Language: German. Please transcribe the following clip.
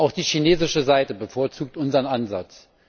Auch die chinesische Seite bevorzugt unseren Ansatz.